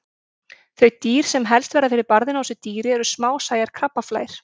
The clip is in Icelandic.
Þau dýr sem verða helst fyrir barðinu á þessu dýri eru smásæjar krabbaflær.